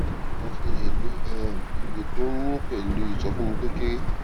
báwo la ṣe lè lo um ìgò tó ń yùn pèlú ìsọfúnni tó kéré